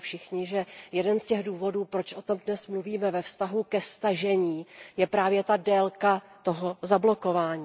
Víme to všichni, že jeden z těch důvodů, proč o tom dnes mluvíme ve vztahu ke stažení, je právě délka zablokování.